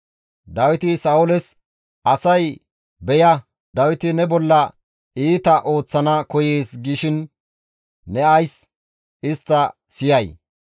Dawiti Sa7ooles, «Asay, ‹Beya Dawiti ne bolla iita ooththana koyees› gishin ne ays istta siyay?